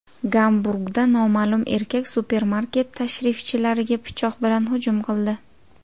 Gamburgda noma’lum erkak supermarket tashrifchilariga pichoq bilan hujum qildi.